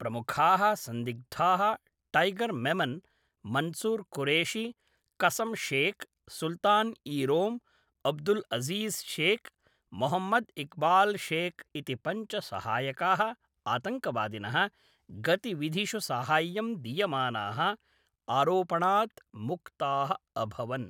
प्रमुखाः सन्दिग्धाः टैगर् मेमन्, मन्सूर् कुरेशी, कसं शेख्, सुल्तान् ई रोम्, अब्दुल् अज़ीज़ शेख्, मोहम्मद् इक्बाल् शेख् इति पञ्च सहायकाः आतङ्कवादिनः गतिविधिषु साहाय्यं दीयमानाः आरोपणात् मुक्ताः अभवन्।